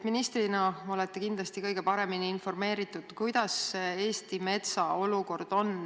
Ministrina olete kindlasti kõige paremini informeeritud, missugune Eesti metsa olukord on.